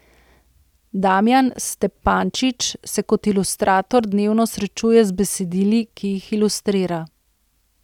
Damijan Stepančič se kot ilustrator dnevno srečuje z besedili, ki jih ilustrira.